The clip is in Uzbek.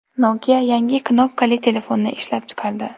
Nokia yangi knopkali telefonni ishlab chiqardi.